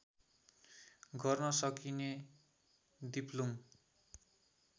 गर्न सकिने दिप्लुङ